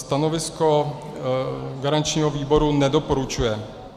Stanovisko garančního výboru - nedoporučuje.